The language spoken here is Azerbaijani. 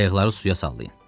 Qayıqları suya salın.